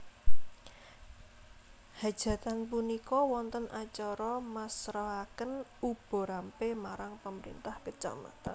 Hajatan punika wonten acara masrahaken uba rampe marang Pemerintah Kecamatan